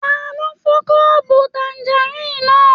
Talo fọ kọ́ọ́bú tànganran náà?